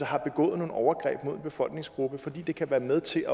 har begået nogle overgreb mod en befolkningsgruppe for det kan være med til